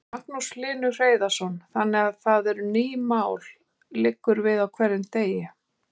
Magnús Hlynur Hreiðarsson: Þannig að það eru ný mál liggur við á hverjum degi?